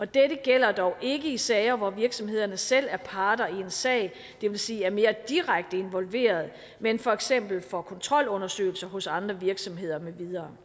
dette gælder dog ikke i sager hvor virksomhederne selv er parter i en sag det vil sige er mere direkte involveret men for eksempel for kontrolundersøgelser hos andre virksomheder med videre